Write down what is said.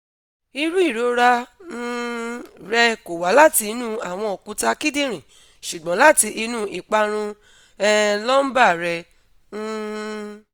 iru irora um rẹ ko wa lati inu awọn okuta kidinrin ṣugbọn lati inu iparun um lumbar rẹ um